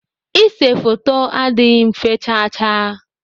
Ise foto adịghị mfe chaa chaa.